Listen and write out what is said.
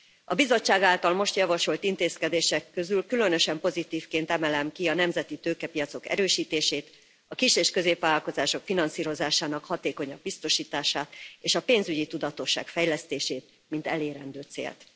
A Bizottság által most javasolt intézkedések közül különösen pozitívként emelem ki a nemzeti tőkepiacok erősítését, a kis és középvállalkozások finanszírozásának hatékonyabb biztosítását, és a pénzügyi tudatosság fejlesztését, mint elérendő célt.